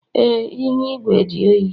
Ee, ihu igwe dị oyi